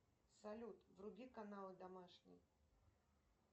салют вруби канал домашний